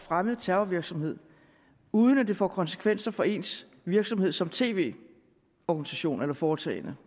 fremmet terrorvirksomhed uden at det får konsekvenser for ens virksomhed som tv organisation eller foretagende